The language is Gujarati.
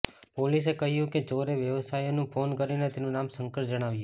પોલીસએ કહ્યું કે ચોરે વ્યયવસાયીને ફોન કરીને તેનું નામ શંકર જણાવ્યું